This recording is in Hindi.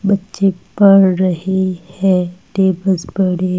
बच्चे पढ़ रहे हैं टेबलस पड़े --